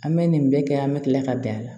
An bɛ nin bɛɛ kɛ an bɛ tila ka bɛn a la